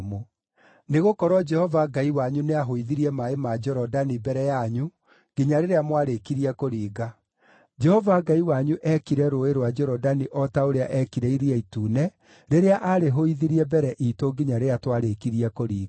Nĩgũkorwo Jehova Ngai wanyu nĩahũithirie maaĩ ma Jorodani mbere yanyu nginya rĩrĩa mwarikire kũringa. Jehova Ngai wanyu eekire Rũũĩ rwa Jorodani o ta ũrĩa eekire Iria Itune rĩrĩa aarĩhũithirie mbere iitũ nginya rĩrĩa twarĩkirie kũringa.